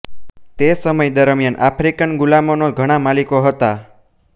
તે સમય દરમિયાન આફ્રિકન ગુલામોના ઘણાં માલિકો હતા